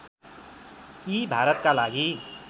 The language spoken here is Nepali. यी भारतका लागि